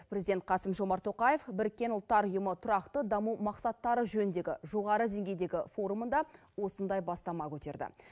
президент қасым жомарт тоқаев біріккен ұлттар ұйымы тұрақты даму мақсаттары жөніндегі жоғары деңгейдегі форумында осындай бастама көтерді